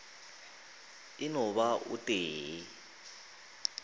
e no ba o tee